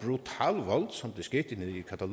nu